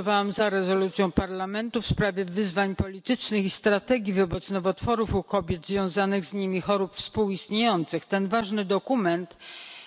Głosowałam za rezolucją Parlamentu w sprawie wyzwań politycznych i strategii wobec nowotworów u kobiet i związanych z nimi chorób współistniejących. Ten ważny dokument